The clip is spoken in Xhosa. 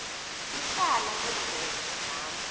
ityala lezono zam